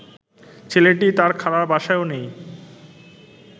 ছেলেটি তার খালার বাসায়ও নেই